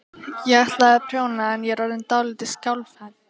Ég ætlaði að prjóna en ég er orðin dálítið skjálfhent.